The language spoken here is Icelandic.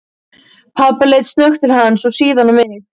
Pabbi leit snöggt til hans og síðan á mig.